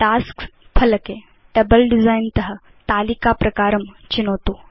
tasks फलके table design त तालिका प्रकारं चिनोतु